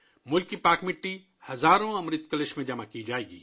ملک کی مقدس مٹی ہزاروں کی تعداد میں امرت کلشوں میں جمع کی جائے گی